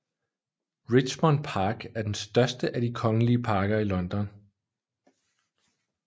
Richmond Park er den største af de kongelige parker i London